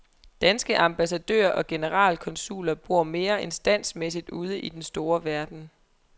Danske ambassadører og generalkonsuler bor mere end standsmæssigt ude i den store verden.